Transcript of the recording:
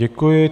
Děkuji.